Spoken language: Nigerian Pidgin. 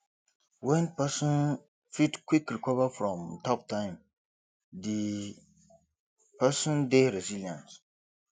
when person fit quick recover from tough time di person dey resilient